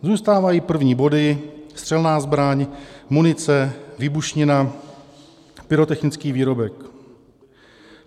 Zůstávají první body - střelná zbraň, munice, výbušnina, pyrotechnický výrobek.